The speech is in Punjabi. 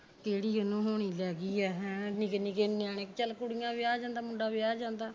ਕਿਹੜੀ ਗੱਲੋਂ ਹੋਣੀ ਲੈ ਗਈ ਐ ਹੈ ਨਿੱਕੇ ਨਿੱਕੇ ਨਿਆਣੇ ਚਲ ਕੁੜੀਆਂ ਵਿਆਹ ਜਾਂਦਾ ਮੁੰਡਾ ਵਿਆਹ ਜਾਂਦਾ